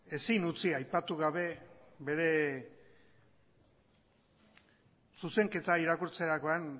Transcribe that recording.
ezin utzi aipatu gabe bere zuzenketa irakurtzerakoan